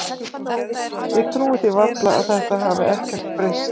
Ég trúi því varla að þetta hafi ekkert breyst?